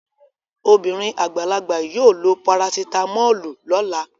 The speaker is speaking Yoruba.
Obìnrin àgbàlagbà yóò lo parasitámọ́lù lọ́la